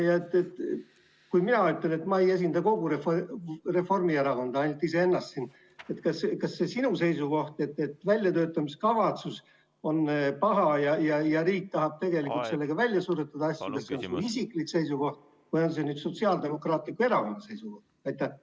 Kui mina ütlen, et ma ei esinda kogu Reformierakonda, ainult iseennast siin, siis kas see seisukoht, et väljatöötamiskavatsus on paha ja riik tahab tegelikult sellega asju välja suretada, on su isiklik seisukoht või on see Sotsiaaldemokraatliku Erakonna seisukoht?